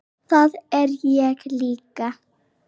Það er ég líka